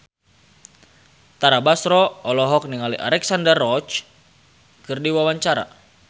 Tara Basro olohok ningali Alexandra Roach keur diwawancara